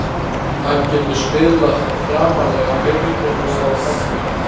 Hann getur spilað framarlega á miðjunni og á kantinum.